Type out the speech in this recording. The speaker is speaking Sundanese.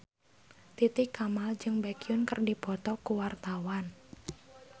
Titi Kamal jeung Baekhyun keur dipoto ku wartawan